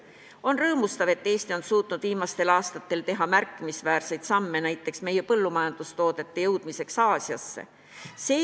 On rõõmustav, et Eesti on suutnud viimastel aastatel teha märkimisväärseid samme näiteks meie põllumajandustoodete jõudmiseks Aasiasse.